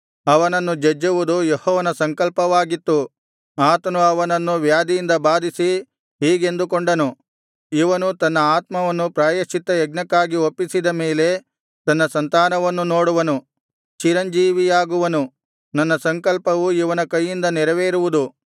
ಅವನನ್ನು ಜಜ್ಜುವುದು ಯೆಹೋವನ ಸಂಕಲ್ಪವಾಗಿತ್ತು ಆತನು ಅವನನ್ನು ವ್ಯಾಧಿಯಿಂದ ಬಾಧಿಸಿ ಹೀಗೆಂದುಕೊಂಡನು ಇವನು ತನ್ನ ಆತ್ಮವನ್ನು ಪ್ರಾಯಶ್ಚಿತ್ತಯಜ್ಞಕ್ಕಾಗಿ ಒಪ್ಪಿಸಿದ ಮೇಲೆ ತನ್ನ ಸಂತಾನವನ್ನು ನೋಡುವನು ಚಿರಂಜೀವಿಯಾಗುವನು ನನ್ನ ಸಂಕಲ್ಪವು ಇವನ ಕೈಯಿಂದ ನೆರವೇರುವುದು